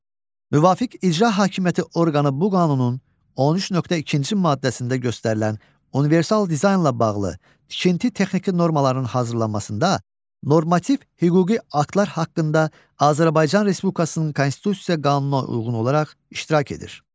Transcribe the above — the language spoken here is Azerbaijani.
Müvafiq icra hakimiyyəti orqanı bu qanunun 13.2-ci maddəsində göstərilən universal dizaynla bağlı tikinti texniki normalarının hazırlanmasında normativ hüquqi aktlar haqqında Azərbaycan Respublikasının konstitusiya qanununa uyğun olaraq iştirak edir.